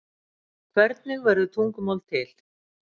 Hvernig verður tungumál til?